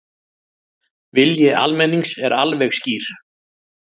Vilji almennings er alveg skýr